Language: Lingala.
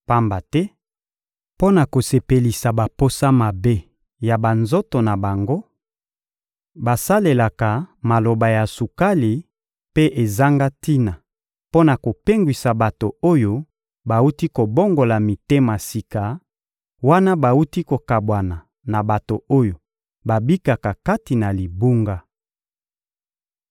Pamba te, mpo na kosepelisa baposa mabe ya banzoto na bango, basalelaka maloba ya sukali mpe ezanga tina mpo na kopengwisa bato oyo bawuti kobongola mitema sika wana bawuti kokabwana na bato oyo babikaka kati na libunga.